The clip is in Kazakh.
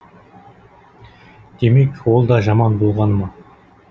демек ол да жаман болғаны ма